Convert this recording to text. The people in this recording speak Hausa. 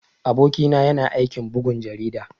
Aboki na yana aikin bugun jarida.